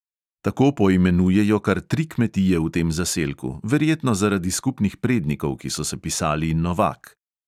Tako poimenujejo kar tri kmetije v tem zaselku, verjetno zaradi skupnih prednikov, ki so se pisali novak.